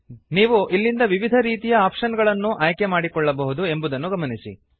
ನೀವು ಇಲ್ಲಿಂದ ವಿವಿಧ ರೀತಿಯ ಆಪ್ಷನ್ ಗಳನ್ನು ಆಯ್ಕೆ ಮಾಡಿಕೊಳ್ಳಬಹುದು ಎಂಬುದನ್ನು ಗಮನಿಸಿ